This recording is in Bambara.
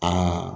Aa